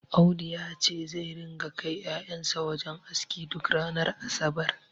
Audu yace zai ringa kai ƴaƴan sa wajen aski duk ranar asabar